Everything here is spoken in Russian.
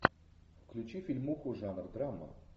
включи фильмуху жанр драма